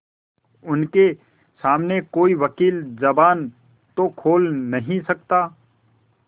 उनके सामने कोई वकील जबान तो खोल नहीं सकता